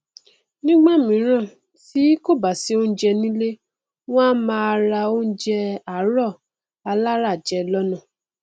nígbàmíràn tí kò bá si oúnjẹ nílé wọn a máa ra oúnjẹ àárọ aláràjẹ lọnà